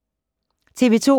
TV 2